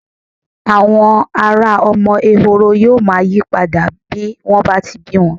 Àwọ̀ ara ọmọ ẹhoro yóò máa yí padà bí wọ́n bá ti bí wọn.